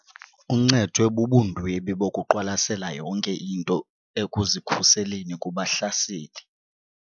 Uncedwe bubundwebi bokuqwalasela yonke into ekuzikhuseleni kubahlaseli.